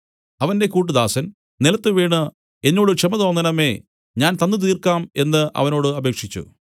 അവന്റെ കൂട്ടുദാസൻ നിലത്തുവീണു എന്നോട് ക്ഷമ തോന്നേണമേ ഞാൻ തന്നു തീർക്കാം എന്നു അവനോട് അപേക്ഷിച്ചു